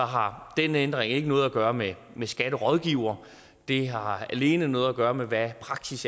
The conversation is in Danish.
har den ændring ikke noget at gøre med skatterådgivere det har alene noget at gøre med hvad der er praksis